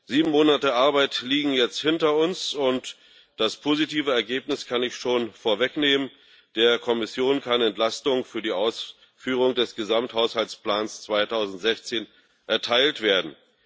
Sieben Monate Arbeit liegen jetzt hinter uns, und das positive Ergebnis kann ich schon vorwegnehmen Der Kommission kann Entlastung für die Ausführung des Gesamthaushaltsplans 2016 erteilt werden.